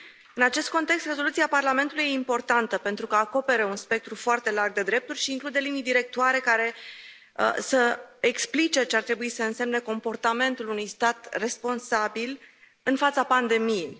În acest context, rezoluția Parlamentului e importantă pentru că acoperă un spectru foarte larg de drepturi și include linii directoare care să explice ce ar trebui să însemne comportamentul unui stat responsabil în fața pandemiei.